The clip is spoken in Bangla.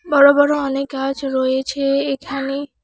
বড় বড় অনেক গাছ রয়েছে এখানে।